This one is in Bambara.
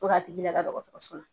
Fo k'a tigi lada dɔgɔtɔrɔso la .